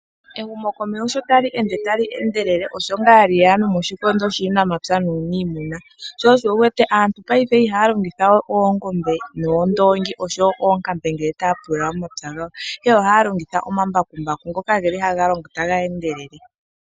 Ehumo komeho osho lyeya moshikondo shuunamapya nuunimuna. Aantu payife iihaya longithawe oongombe, uundongi nosho woo oonkambe okupululitha, aantu ohaalongitha omambakumbaku ngoka haga longo ta geendelele.